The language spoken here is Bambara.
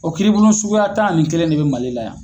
O kiribolo suguya tan a ni kelen de bɛ Mali la yan.